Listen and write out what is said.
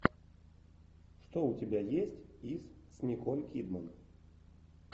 что у тебя есть из с николь кидман